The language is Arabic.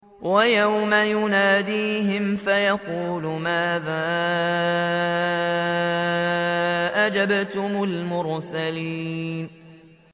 وَيَوْمَ يُنَادِيهِمْ فَيَقُولُ مَاذَا أَجَبْتُمُ الْمُرْسَلِينَ